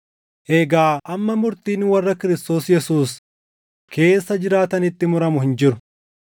Egaa amma murtiin warra Kiristoos Yesuus keessa jiraatanitti muramu hin jiru;